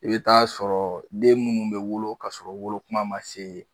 I bɛ taa sɔrɔ den minnu bɛ wolo kasɔrɔ u wolokuma ma se